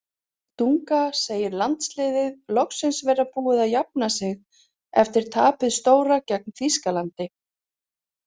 Dunga segir landsliðið loksins vera búið að jafna sig eftir tapið stóra gegn Þýskalandi.